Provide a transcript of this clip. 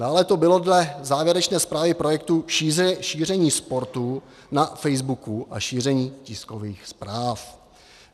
Dále to bylo dle závěrečné zprávy projektu šíření sportů na facebooku a šíření tiskových zpráv.